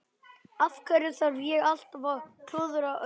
Af hverju þarf ég alltaf að klúðra öllu?